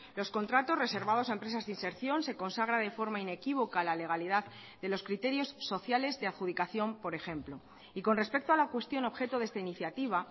los contratos reservados a empresas de inserción se consagra de forma inequívoca la legalidad de los criterios sociales de adjudicación por ejemplo y con respecto a la cuestión objeto de esta iniciativa